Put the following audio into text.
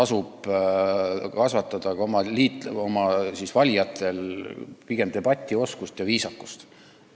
Pigem tasub oma valijates arendada debatioskust ja viisakust.